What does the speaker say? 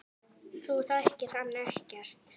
Þú þekkir hann ekkert.